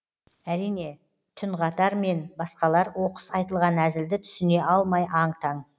әрине түнғатар мен басқалар оқыс айтылған әзілді түсіне алмай аң таң